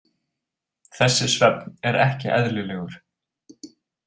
Þessi svefn er ekki eðlilegur.